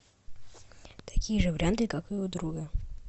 такие же варианты как и у друга